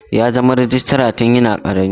Ya zama rejistra tun yana karami.